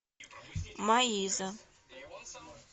маиза